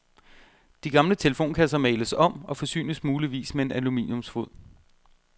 De gamle telefonkasser males om og forsynes muligvis med en aluminiumsfod.